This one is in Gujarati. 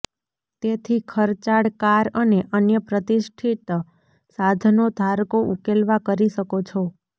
તેથી ખર્ચાળ કાર અને અન્ય પ્રતિષ્ઠિત સાધનો ધારકો ઉકેલવા કરી શકો છો